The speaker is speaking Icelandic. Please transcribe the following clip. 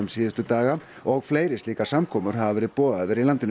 síðustu daga og fleiri slíkar samkomur hafa verið boðaðar í landinu